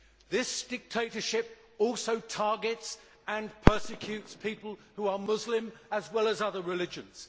This dictatorship also targets and persecutes people who are Muslim as well as other religions.